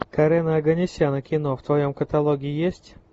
карена оганесяна кино в твоем каталоге есть